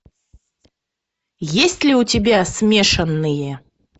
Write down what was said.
есть ли у тебя смешанные